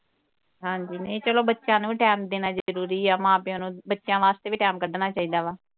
ਹਾਂਜੀ ਨਹੀ ਚਲੋ ਬੱਚਿਆਂ ਨੂੰ ਵੀ time ਦੇਣਾ ਜਰੂਰੀ ਆ। ਮਾਂ ਪਿਓ ਨੂੰ ਵੀ ਬੱਚਿਆਂ ਵਾਸਤੇ ਵੀ time ਕਢਣਾ ਚਾਹੀਦਾ ਵਾ।